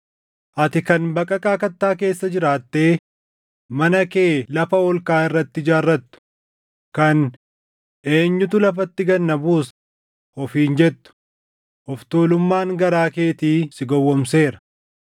Ati kan baqaqaa kattaa keessa jiraattee mana kee lafa ol kaʼaa irratti ijaarrattu, kan, ‘Eenyutu lafatti gad na buusa?’ ofiin jettu, of tuulummaan garaa keetii si gowwoomseera.